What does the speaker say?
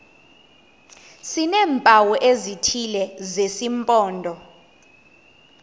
sineempawu ezithile zesimpondo